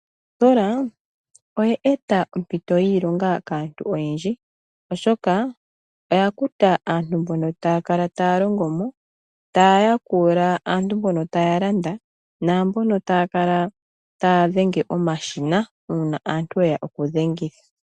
Ositola oye eta ompito yiilonga kaantu oyendji oshoka oyakuta aantu mboka taya kala taya longo mo taya yakula aantu mboka taya landa namboka taya kala taya dhenge omashina una aantu ya hala okudhengitha.